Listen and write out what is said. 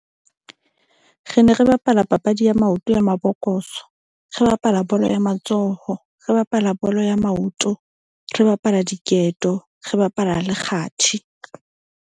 Re ne re bapala papadi ya maoto ya mabokoso. Re bapala bolo ya matsoho. Re bapala bolo ya maoto. Re bapala diketo. Re bapala le kgathi.